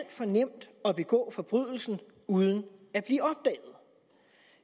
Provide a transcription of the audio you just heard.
for nemt at begå forbrydelsen uden